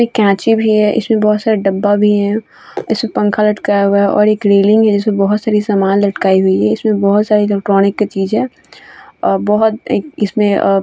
एक केची भी है इस में बहुत सारे डब्बा भी है इसमें पंखा लटकाया हुआ है और एक रेलिंग है जिस पे बोहोत सारे सामान लटकाए हुई है इस में बहुत सारी इलेक्ट्रॉनिक की चीज़ है अ बोहोत एक इस में अ --